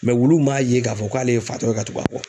Mɛ wuluw m'a ye k'a fɔ k'ale ye fatɔ ye ka tugu a bɔ